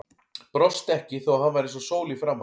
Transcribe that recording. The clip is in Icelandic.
Brosti ekki þó að hann væri eins og sól í framan.